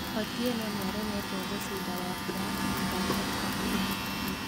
Otieno nĩaremetwo gũcinda Wafula mĩthako ĩtatũ ĩhĩtũkĩte